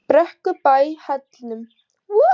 Brekkubæ Hellnum